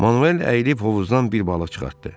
Manuel əyilib hovuzdan bir balıq çıxartdı.